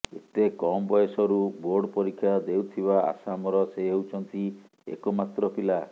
ଏତେ କମ୍ ବୟସରୁ ବୋର୍ଡ ପରୀକ୍ଷା ଦେଉଥିବା ଆସାମର ସେ ହେଉଛନ୍ତି ଏକମାତ୍ର ପିଲା